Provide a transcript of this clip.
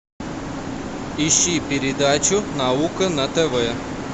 ищи передачу наука на тв